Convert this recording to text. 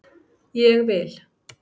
Ég vil